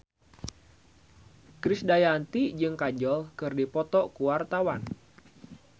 Krisdayanti jeung Kajol keur dipoto ku wartawan